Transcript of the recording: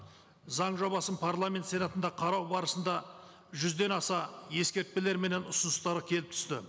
заң жобасын парламент сенатында қарау барысында жүзден аса ескертпелер менен ұсыныстар келіп түсті